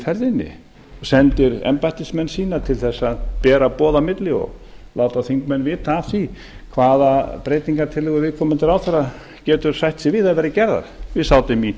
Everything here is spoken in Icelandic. ferðinni sendir embættismenn sína til þess að bera boð á milli og láta þingmenn vita af því hvaða breytingartillögur viðkomandi ráðherra getur sætt sig við að verði gerðar við sátum í